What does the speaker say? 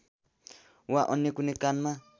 वा अन्य कुनै कानमा